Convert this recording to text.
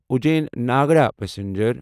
Ujjain Nagda passenger